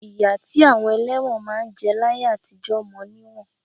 Ìyà tí àwọn ẹlẹ́wọ̀n máa ń jẹ láyé àtijọ mọ níwọ̀n